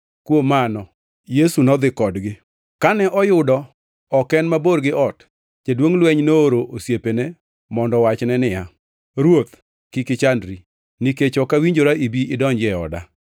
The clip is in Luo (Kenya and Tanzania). Kuom mano, Yesu nodhi kodgi. Kane oyudo ok en mabor gi ot, jaduongʼ lweny nooro osiepene mondo owachne niya, “Ruoth, kik ichandri, nikech ok awinjora ibi idonji ei oda.